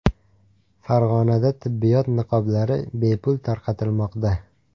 Farg‘onada tibbiyot niqoblari bepul tarqatilmoqda .